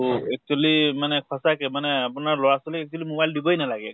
তʼ actually মানে সঁচা মানে আপোনাৰ লʼৰা ছোৱালীক mobile দিবই নালাগে।